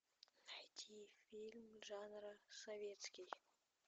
найти фильм жанра советский